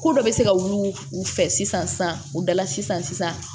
Ko dɔ bɛ se ka wili u fɛ sisan u dala sisan sisan